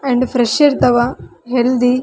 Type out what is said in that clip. and fresh ಇರ್ತಾವ healthy --